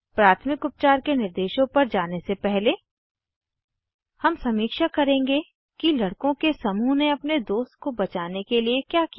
प्राथमिक उपचार के निर्देशों पर जाने से पहले हम समीक्षा करेंगे कि लड़को के समूह ने अपने दोस्त को बचाने के लिए क्या किया